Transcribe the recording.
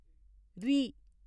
ऋ